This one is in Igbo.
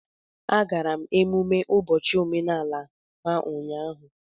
Agara m emumme ụbọchị omenala ha ụnyahụ